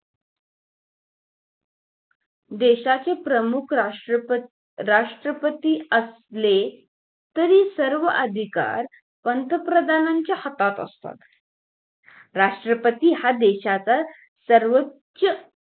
देशाचे प्रमुख राष्ट्रपती राष्ट्रपती असले ते सर्व अधिकार पंतप्रधानाच्या हातात असतात राष्ट्रपती हा देशाचा सर्वोच